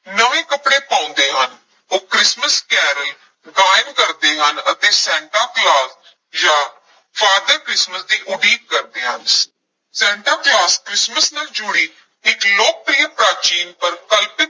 ਨਵੇਂ ਕੱਪੜੇ ਪਾਉਂਦੇ ਹਨ, ਉਹ ਕ੍ਰਿਸਮਿਸ ਕੈਰਲ ਗਾਇਨ ਕਰਦੇ ਹਨ ਅਤੇ ਸੈਂਟਾ ਕਲੌਸ ਜਾਂ father ਕ੍ਰਿਸਮਸ ਦੀ ਉਡੀਕ ਕਰਦੇ ਹਨ ਸੈਂਟਾ ਕਲੌਸ ਕ੍ਰਿਸਮਸ ਨਾਲ ਜੁੜੀ ਇੱਕ ਲੋਕਪ੍ਰਿਯ ਪ੍ਰਾਚੀਨ ਪਰ ਕਲਪਿਤ